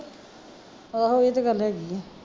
ਆਹੋ ਓਹੀ ਤੇ ਗੱਲ ਹੈਗੀ ਆ